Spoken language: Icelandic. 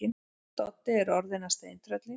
Doddi er orðinn að steintrölli.